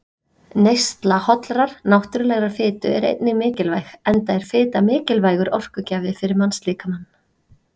Neysla hollrar, náttúrulegrar fitu er einnig mikilvæg, enda er fita mikilvægur orkugjafi fyrir mannslíkamann.